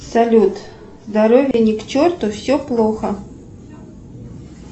салют здоровье ни к черту все плохо